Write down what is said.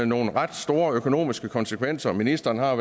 nogle ret store økonomiske konsekvenser ministeren har